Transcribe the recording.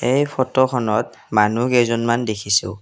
এই ফটো খনত মানুহ কেইজনমান দেখিছোঁ।